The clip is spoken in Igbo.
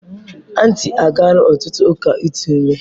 Aunty agaala otutu uka itu ime.